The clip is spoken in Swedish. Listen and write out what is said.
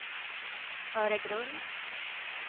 Öregrund